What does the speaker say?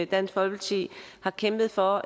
dansk folkeparti har kæmpet for